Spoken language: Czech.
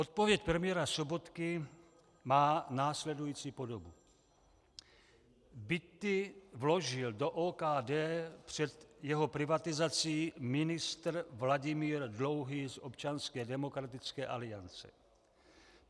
Odpověď premiéra Sobotky má následující podobu: "Byty vložil do OKD před jeho privatizací ministr Vladimír Dlouhý z Občanské demokratické aliance.